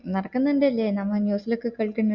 നടക്കുന്നുണ്ടല്ലേ നമ്മ news ലൊക്കെ കേള്കുന്നു